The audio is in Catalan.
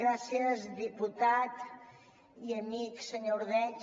gràcies diputat i amic senyor ordeig